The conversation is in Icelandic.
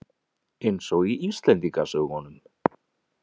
Eins og í Íslendingasögunum.